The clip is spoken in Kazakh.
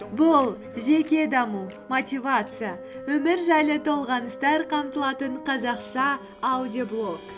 бұл жеке даму мотивация өмір жайлы толғаныстар қамтылатын қазақша аудиоблог